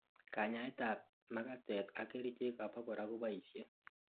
kanyaet ab makatet ak kerichek abakora koboishe